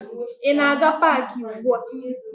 Ị na-aga paakị ugbua?